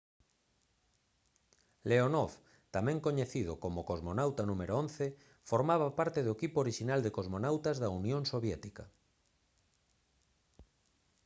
leonov tamén coñecido como cosmonauta n.º 11 formaba parte do equipo orixinal de cosmonautas da unión soviética